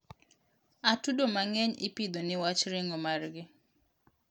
atudo mangeny ipidho niwach ringo margi